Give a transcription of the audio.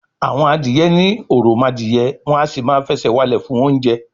àwọn adìyẹ ní òròmọdìyẹ, wọn à sì máa fẹsẹ̀ walẹ̀ fún oúnjẹ